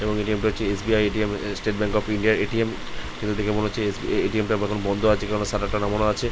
এবং এ.টি.এম. টা হচ্ছে SBI. ATM. State bank of ইন্ডিয়ার এ.টি.এম. এটা দেখে মনে হচ্ছে এস.বি.আই. এ.টি.এম. টা বন্ধ আছে কারন সাটার খানা মোড়া আছে।